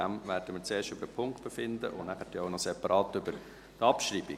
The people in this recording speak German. Deshalb werden wir zuerst über den Punkt befinden und dann noch separat über die Abschreibung.